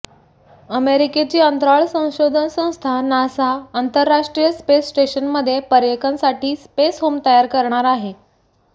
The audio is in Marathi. अमेरिकेची अंतराळ संशोधन संस्था नासा आंतरराष्ट्रीय स्पेस स्टेशनमध्ये पर्यटकांसाठी स्पेस होम तयार करणार आहे